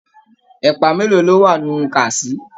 Ẹ̀pà mélòó ni o wà nínú kàsí.